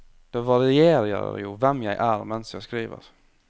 Det varierer jo hvem jeg er mens jeg skriver.